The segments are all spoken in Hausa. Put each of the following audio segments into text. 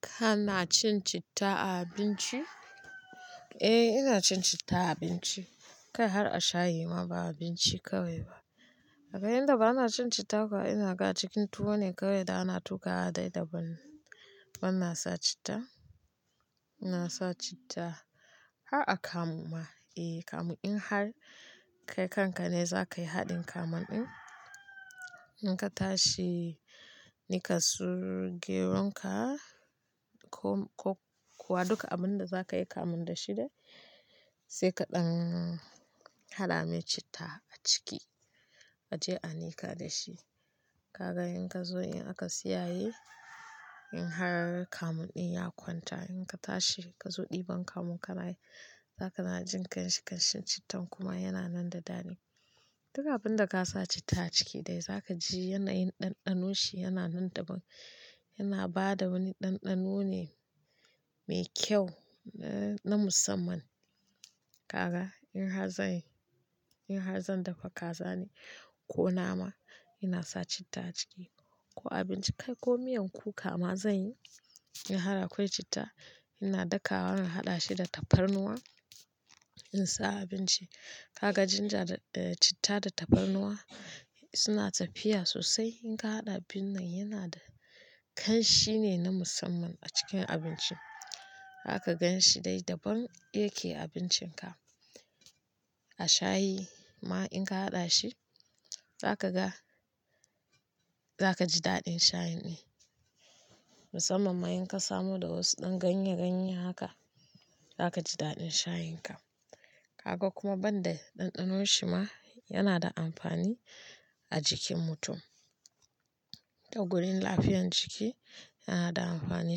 Kana cin citta a abinci? Eh ina cin citta a abinci, kai har a shayi ma ba abinci kawai ba. Aga yanda bana cin citta kuwa ina ga cikin tuwo ne kawai da ana tuƙa haɗa da ban, bana sa citta. Ina sa citta har a kamu ma. Eh kamu in har kai kanka ne za ka yi haɗin kamun ɗin. In ka tashi nika su geron ka ko kuwa duka abun da za ka yi kamun da shi dai sai kaɗan hala me citta a ciki a je a nika da shi. Kaga in ka zo in aka siyaye in har kamun ɗin ya kwanta in ka tashi ka zo ɗiban kamun ka nayi za ka na jin kanshi-kanshin cittan kuma yana nan da ɗani. Duka abun da ka sa citta a ciki dai za ka ji yanayin ɗanɗano shi yana nan da ban, yana ba da wani ɗanɗano ne mai kyau na musamman. Kaga in har zan yi, in har zan dafa kaza ne ko nama ina sa citta a ciki ko a abinci kai ko miyan kuka ma zan yi in har akwai citta ina daka wa na haɗa shi da tafarnuwa in sa abinci. Kaga ginger da citta da tafarnuwa suna tafiya sosai in ka haɗa abin nan yana da kanshi ne na musamman a cikin abinci. Za ka gan shi dai daban yake a abincin ka. A shayi ma in ka haɗa shi za ka ga, za ka ji daɗin shayin ɗin. Musamman ma in ka samu da wasu ɗan ganye-ganye haka za ka ji daɗin shayin ka. Kaga kuma ban da ɗanɗano shi ma yana da amfani a jikin mutum. A gurin lafiyar jiki yana da amfani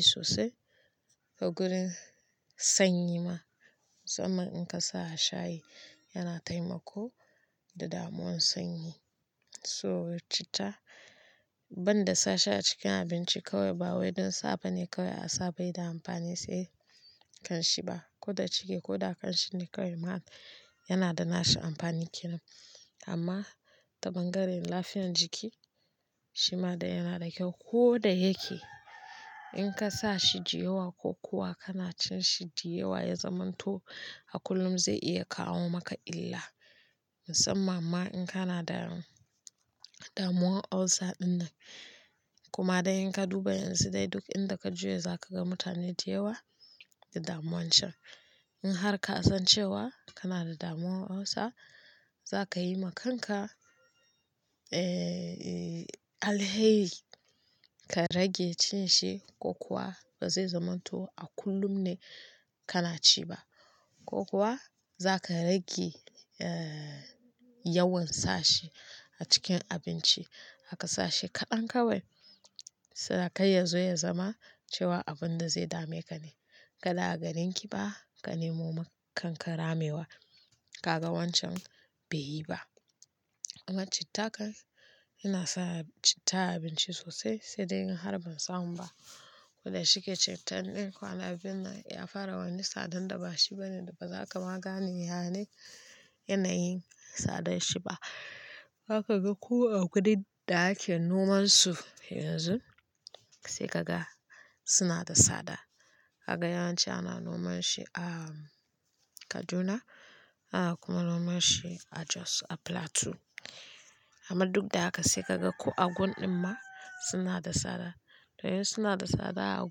sosai. A gurin sanyi ma musamman in ka sa a shayi yana taimako da damuwan sanyi. So citta ban da sashi a cikin abinci kawai ba wai don safa ne kawai a safa yana yi da amfani sai kanshi ba. Ko da cike ko da kanshin ne kawai ma yana da na shi amfanin kiran. Amma ta bangaren lafiyar jiki shi ma dai yana da kyau ko da yake in ka sa shi ji yawa ko kuwa kana cin shi ji yawa ya zamanto a kullum zai iya kawo maka illa musamman ma in kana da damuwan ulcer ɗin nan. Kuma dai in ka duba yanzu dai duk inda ka juya za ka ga mutane da yawa da damuwan can. In har ka san cewa kana da damuwan ulcer za ka yi ma kanka, eh alheri ka rage cin shi ko kuwa ba zai zamanto a kullum ne ka na ci ba ko kuwa za ka rage, eh yawan sa shi a cikin abinci. Haka sa shi kaɗan kawai sai kai ya zo ya zama cewa abun da zai dame ka ne. Kada a ganin ki ba ka nemo ma kanka ramewa. Kaga wancan bai yi ba. Amma citta kan ina sa citta a abinci sosai sai dai in har ban samu ba. Ko da shike cittan ɗin kwanan nan ya fara wani tsadan da ba shi bane da ba za ka magane yana yin tsadan shi ba. Haka ka ga ko a gurin da ake noman su yanzu sai ka ga suna da tsada. Kaga yawanci ana noman shi a Kaduna ana kuma noman shi a Jos a Plateau. Amma duk da haka sai ka ga ko a gun ɗin ma suna da tsada. To yanzu suna da tsada a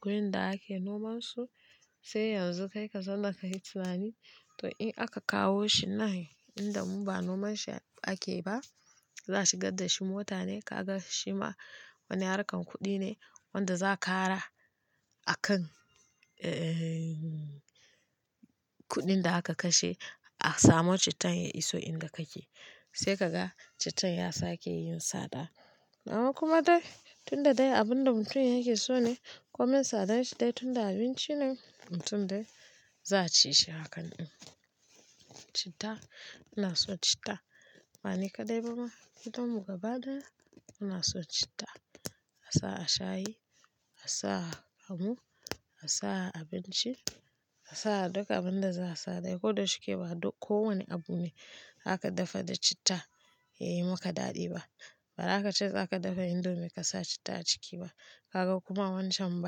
gurin da ake noman su sai yanzu kai ka san da ka yi tunani to in aka kawo shi nan inda mu ba noman shi ake ba za su gad da shi mota ne kaga shi ma wani harkar kuɗi ne wanda za ka kara a kan, eh kuɗin da aka kashe a samo cittan ya iso inda ka ke. Sai ka ga cittan ya sake yin tsada. Amma kuma dai tun da dai abun da mutum yake so ne ko min tsadar shi dai tun da abinci ne mutum dai za ci shi hakan ɗin. Citta ina so citta. Ba ni ka dai ba ma tun daga baya ina so citta. A sa a shayi, a sa a kamu, a sa a abinci, a sa a duka abun da za a sa dai ko da shike ba ko wane abu ne aka dafa da citta yayi maka daɗi ba. Ba za ka ce za ka dafa indomie ka sa citta a ciki ba. Kaga kuma wancan ba.